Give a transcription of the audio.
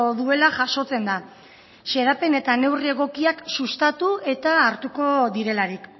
duela jasotzen da xedapen eta neurri egokiak sustatu eta hartuko direlarik